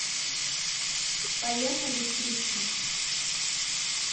поехали стрикси